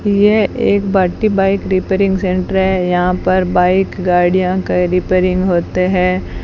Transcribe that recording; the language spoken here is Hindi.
ये एक भगती बाइक रिपेयरिंग सेंटर है यहां पर बाइक गाड़ियां का रिपेयरिंग होते हैं।